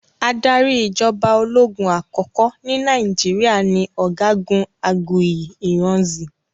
Adarí ìjọba ológun àkọ́kọ́ ní Nàìjíríà ni ọ̀gágun Aguiyi Ironsi